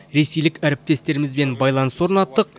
ресейлік әріптестерімізбен байланыс орнаттық